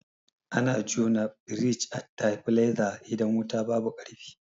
Ana jona firij a tabileza idan wuta babu ƙarfi.